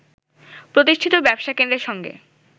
প্রতিষ্ঠিত ব্যবসা কেন্দ্রের সঙ্গে